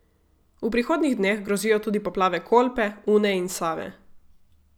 V prihodnjih dneh grozijo tudi poplave Kolpe, Une in Save.